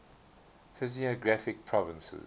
physiographic provinces